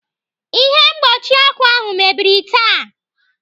Ihe mkpuchi ọkụ ahụ mebiri taa.